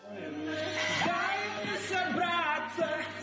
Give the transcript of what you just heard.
дай мне собраться